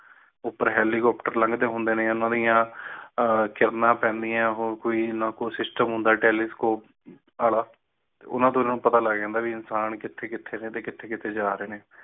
ਉਪਰ helicopter ਲੱਗਦੇ ਪਾਏ ਨੇ ਹੋਰ ਕੋਈ ਸੂਰਜ ਦੀ ਨਾ ਕਿਰਨਾਂ ਪੈਂਡਿਆਂ ਹੋਰ ਕੋਈ system ਨਾ ਕੋਈ telescope ਤੇ ਇਨ੍ਹਾਂ ਤੋਂ ਇਨ੍ਹਾਂ ਨੂੰ ਪਤਾ ਲੱਗਦਾ ਕ ਇਨਸਾਨ ਕਿਥੇ ਕਿਥੇ ਨੇ ਤੇ ਕਿਥੇ ਕਿਥੇ ਜਾ ਰਹੇ ਨੇ